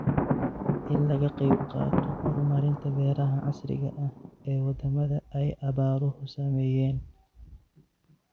In laga qayb qaato horumarinta beeraha casriga ah ee wadamada ay abaaruhu saameeyeen.